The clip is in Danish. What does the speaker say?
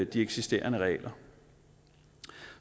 de eksisterende regler